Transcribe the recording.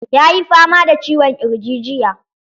Yayi fama da ciwon ƙirji jiya.